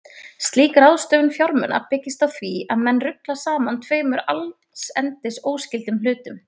Slík ráðstöfun fjármuna byggist á því að menn rugla saman tveimur allsendis óskyldum hlutum.